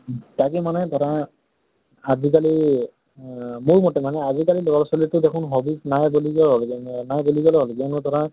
তাকে মানে ধৰা আজি কালি এহ মোৰ মতে মানে আজি কালি লʼৰা ছোৱালী টো দেখোন hobby ত নাই বুলি নাই বুলি কলেই হল ধৰা